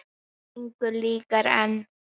Engu líkara en